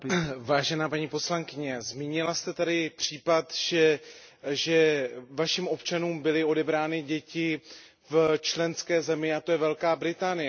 Vážená paní poslankyně, zmínila jste tady případ, že vašim občanům byly odebrány děti v členské zemi, a tou je Velká Británie.